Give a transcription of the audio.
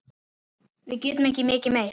Við getum ekki mikið meir.